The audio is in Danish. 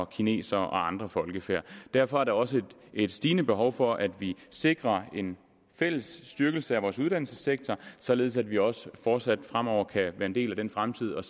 kinesere og andre folkefærd derfor er der også et stigende behov for at vi sikrer en fælles styrkelse af vores uddannelsessektor således at vi også fortsat fremover kan være en del af den fremtid og